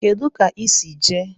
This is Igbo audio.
Kedu ka I si jee?